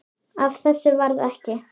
Af þessu varð ekki.